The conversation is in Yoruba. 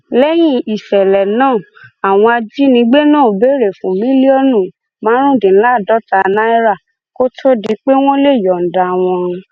nígbà tọwọ tẹ jacob ò jẹwọ pé lóòótọ lòun fipá bá ọmọ náà lò pọ ṣùgbọn iṣẹ èṣù ni